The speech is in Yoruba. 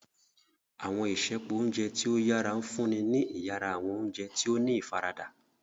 Awọn isẹpo ounjẹ ti o yara nfunni ni iyara, awọn oúnjẹ tí o ní ifarada.